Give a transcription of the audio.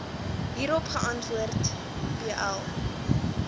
hierop geantwoord bl